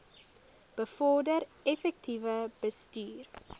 bevorder effektiewe bestuur